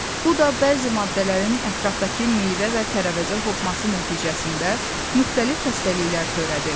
Bu da bəzi maddələrin ətrafdakı meyvə və tərəvəzə hopması nəticəsində müxtəlif xəstəlikler törədir.